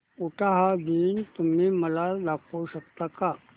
उटाहा दिन तुम्ही मला दाखवू शकता का